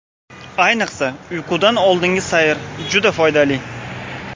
Ayniqsa, uyqudan oldingi sayr juda foydali.